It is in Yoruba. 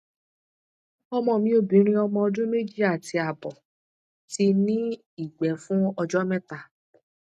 ọmọ mi obinrin omo ọdún meji ati abo ti ní ìgbẹ fún ọjọ mẹta